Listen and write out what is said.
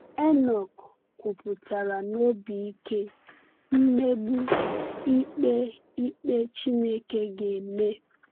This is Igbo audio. Enọk kwupụtara na obi ike mmegbu ikpe ikpe Chineke ga-eme.